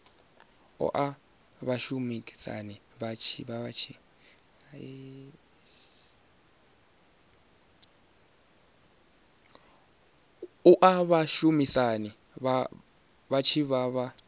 oa vhashumisani vha tshi vha